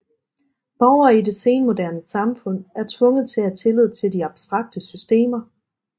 Borgere i det senmoderne samfund er tvunget til at have tillid til de abstrakte systemer